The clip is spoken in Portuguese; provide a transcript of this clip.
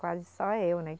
Quase só eu, né?